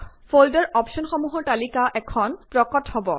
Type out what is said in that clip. folder অপশ্বনসমূহৰ তালিকা এখন প্ৰকট হব